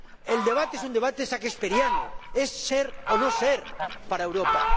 El debate es un debate shakesperiano, es ser o no ser para Europa.